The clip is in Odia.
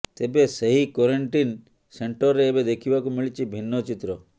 ତେବେ ସେହି କ୍ୱାରେଣ୍ଟିନ୍ ସେଣ୍ଟରରେ ଏବେ ଦେଖିବାକୁ ମିଳିଛି ଭିନ୍ନ ଚିତ୍ର